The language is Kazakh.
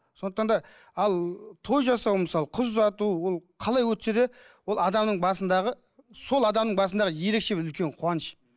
сондықтан да ал той жасау мысалы қыз ұзату ол қалай өтсе де ол адамның басындағы сол адамның басындағы ерекше бір үлкен қуаныш